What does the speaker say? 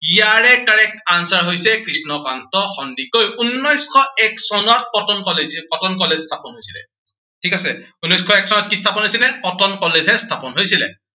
ইয়াৰে correct answer হৈছে কৃষ্ণকান্ত সন্দিকৈ। উনৈচশ এক চনত কটন college, কটন college স্থাপন হৈছিলে। ঠিক আছে। উনৈচ শ এক চনত কি স্থাপন হৈছিলে, কটন college স্থাপন হৈছিলে।